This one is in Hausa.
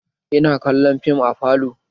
Ina kallon fim a falo